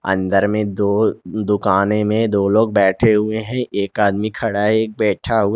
अंदर में दो दुकानें दो लोग बैठे हुए हैं एक आदमी खड़ा है एक आदमी बैठा हुआ--